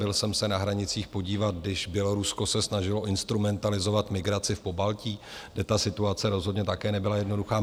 Byl jsem se na hranicích podívat, když Bělorusko se snažilo instrumentalizovat migraci v Pobaltí, kde ta situace rozhodně také nebyla jednoduchá.